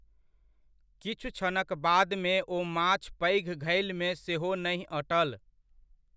किछु क्षणक बादमे ओ माछ पैघ घैलमे सेहो नहि अटल।